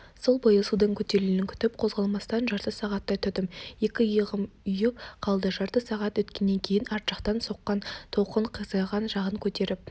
сол бойы судың көтерілуін күтіп қозғалмастан жарты сағаттай тұрдым екі иығым ұйып қалды жарты сағат өткеннен кейін арт жақтан соққан толқын қисайған жағын көтеріп